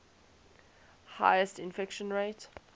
highest infection rate